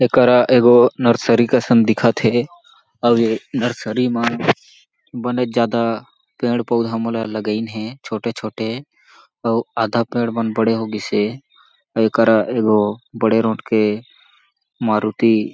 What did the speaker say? एकरा एगो नर्सरी कसन दिखत हे आऊ ये नर्सरी मा बनेच ज्यादा पेड़-पौधा मन लगइन हें छोटे-छोटे अउ आधा पेड़ मन बड़े हो गइस हे ओकरा एगो बड़े रोट के मारुती --